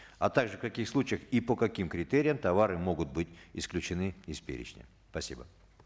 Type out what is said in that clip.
а также в каких случаях и по каким критериям товары могут быть исключены из перечня спасибо